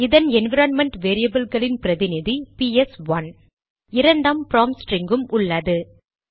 இதன் என்விரான்மென்ட் வேரியபில்களின் பிரதிநிதி பிஎஸ்ஒன்றுPS1 இரண்டாம் ப்ராம்ப்ட் ஸ்டிரிங்கும் உள்ளது